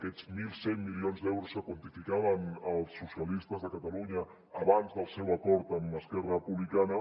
aquests mil cent milions d’euros que quantificaven els socialistes de catalunya abans del seu acord amb esquerra republicana